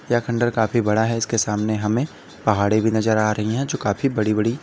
यह खंडहर काफी बड़ा है इसके सामने हमें पहाड़े भी नजर आ रही है जो काफी बड़ी बड़ी--